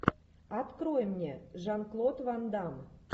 открой мне жан клод ван дамм